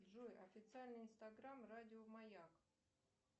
джой официальный инстаграм радио маяк